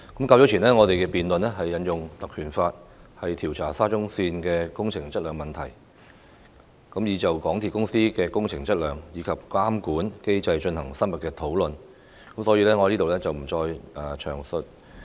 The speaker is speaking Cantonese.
較早前，我們辯論引用《立法會條例》調查沙田至中環線工程質量的問題時，已就香港鐵路有限公司的工程質量，以及監管機制進行深入討論，所以我在這裏不再詳述。